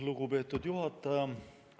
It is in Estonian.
Lugupeetud juhataja!